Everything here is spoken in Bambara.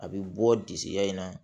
A bɛ bɔ disiya in na